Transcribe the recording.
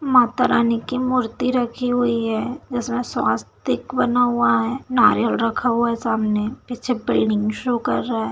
माता रानी की मूर्ति रखी हुई है जिसमें स्वास्तिक बना हुआ है नारियल रखा हुआ है सामने पीछे बिल्डिंग शो कर रहा है।